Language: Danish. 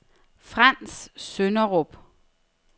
Frants Sønderup